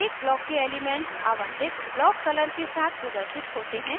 प्रत्येक block के elements आवंटित block color के साथ प्रदर्शित होते हैं